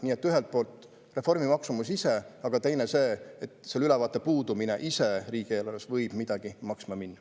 Nii et ühest küljest reformi maksumus ise, aga teisest küljest see, et ülevaate puudumine ise võib midagi maksma minna.